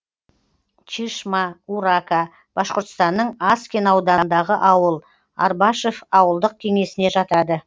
чишма урака башқұртстанның аскин ауданындағы ауыл арбашев ауылдық кеңесіне жатады